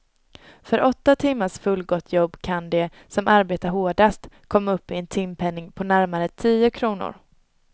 För åtta timmars fullgott jobb kan de, som arbetar hårdast, komma upp i en timpenning på närmare tio kronor.